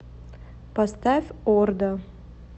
поставь орда